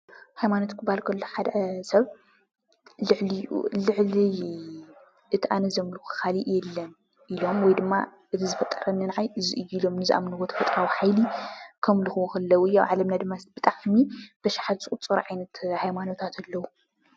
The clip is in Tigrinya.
ሃይማኖት ክበሃል ከሎ ሓደ ሰብ ልዕሊኡ ልዕሊ እቲ ኣነ ዘምልኾ ካሊእ የለን ኢሎም ወይ ድማ እዚ ዝፈጠረኒ ናዓይ እዚ እዩ ኢሎም ንዝኣምንዎ ተፍጥራኣዊ ሓይሊ ከምልኽዎ ከለው እዩ። ኣብ ዓለምና ድማ ብጣዕሚ ብኣሽሓት ዝቁፀሩ ዓይነት ሃይማኖታት ኣለው።